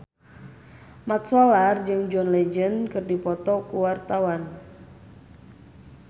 Mat Solar jeung John Legend keur dipoto ku wartawan